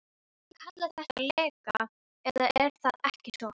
Þið kallið þetta leka, eða er það ekki svo.